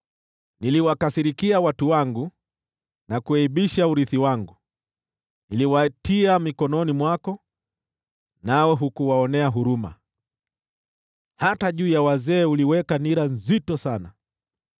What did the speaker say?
Niliwakasirikia watu wangu na kuaibisha urithi wangu; niliwatia mikononi mwako, nawe hukuwaonea huruma. Hata juu ya wazee uliweka nira nzito sana.